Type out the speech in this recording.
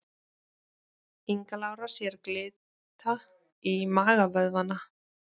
Inga Lára sér glitta í magavöðvana